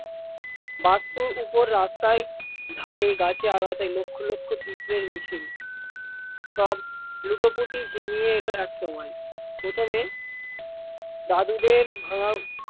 বাস্তুর ওপর রাস্তার ধারে গাছে আগাছায় লক্ষ লক্ষ পিঁপড়ের মিছিল, সব লুটোপুটি হিমিয়ে এল এক সময়, প্রথমে দাদুদের ভাঙার